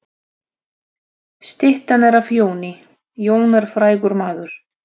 Styttan er af Jóni. Jón er frægur maður.